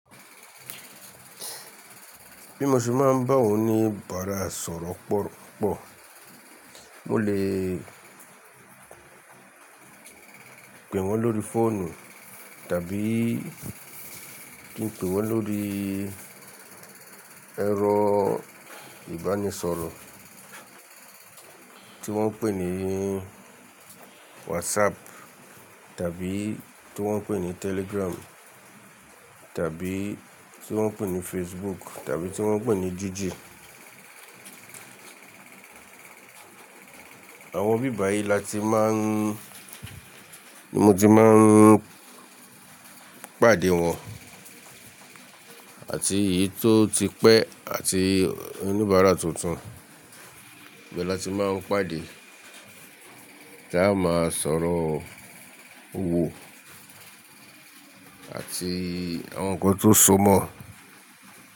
Bí mo ṣe máa ń bá awon òníbàárà sọ̀rọ̀ pọ̀ pupọ̀, mo lè pè wọ́n lórí fóònù tàbí kí n pè wọ́n lórí ẹ̀rọ ìbánisọ̀rọ̀ tí wọ́n ń pè ní WhatsApp tàbí tí wọ́n ń pè ní Telegram tàbí tí wọ́n ń pè ní Facebook tàbí tí wọ́n ń pè ní Gigi. Àwọn bíbà yìí la ti máa ń, ni mo ti máa ń pàdé wọn àti èyí tó ti pẹ́ àti oníbàárà tuntun ibe láti máa ń pàdé tí a máa sọ̀rọ̀ òwò àti àwọn nǹkan tó so mọ́